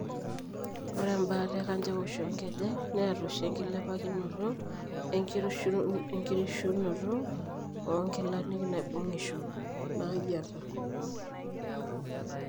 Ore embaata ekanjaoisho oonkejek neata oshi enkilepakinoto oenkirishunoto oonkilanik naibung'isho naayieta.